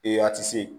a ti se